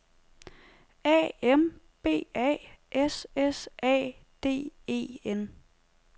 A M B A S S A D E N